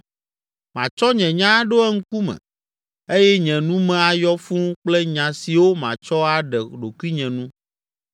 Matsɔ nye nya aɖo eŋkume eye nye nu me ayɔ fũu kple nya siwo matsɔ aɖe ɖokuinye nu